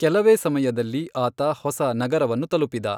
ಕೆಲವೇ ಸಮಯದಲ್ಲಿ, ಆತ ಹೊಸ ನಗರವನ್ನು ತಲುಪಿದ.